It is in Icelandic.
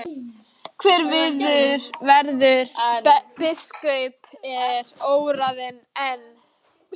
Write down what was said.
Hver verður biskup er óráðið enn.